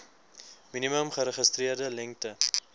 minimum geregistreerde lengte